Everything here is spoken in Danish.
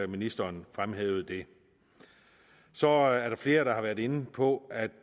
ministeren fremhævede det så er der flere der har været inde på at